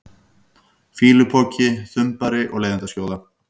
fýlupoki, þumbari og leiðindaskjóða?